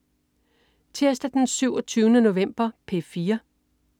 Tirsdag den 27. november - P4: